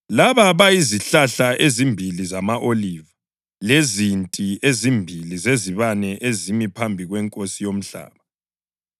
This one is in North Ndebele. Laba “bayizihlahla ezimbili zama-oliva” + 11.4 UZakhariya 4.3, 11, 14 lezinti ezimbili zezibane “ezimi phambi kweNkosi yomhlaba.”